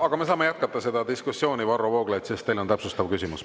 Aga me saame jätkata seda diskussiooni, sest teil, Varro Vooglaid, on täpsustav küsimus.